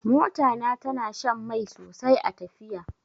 Mota na tana shan mai sosai a tafiya.